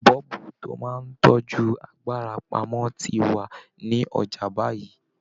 Bọ́ọ̀bù tó máa ń tọ́jú agbára pamọ́ ti wà ní ọjà báyìí